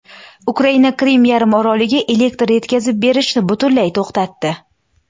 Ukraina Qrim yarimoroliga elektr yetkazib berishni butunlay to‘xtatdi.